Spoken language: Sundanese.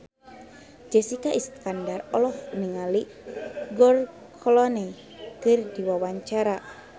Jessica Iskandar olohok ningali George Clooney keur diwawancara